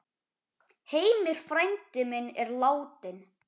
Heimir frændi minn er látinn.